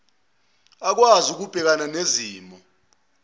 akwazi ukubhekana nezimo